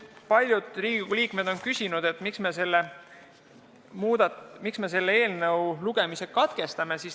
Paljud Riigikogu liikmed on küsinud, miks me selle eelnõu lugemise katkestame.